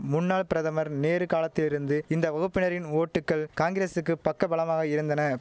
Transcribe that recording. முன்னாள் பிரதமர் நேரு காலத்திலிருந்து இந்த வகுப்பினரின் ஓட்டுக்கள் காங்கிரசுக்கு பக்க பலமாக இருந்தன